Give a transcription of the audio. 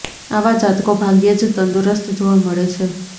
આવા જાતકો ભાગ્યે જ તંદુરસ્ત જોવા મળે છે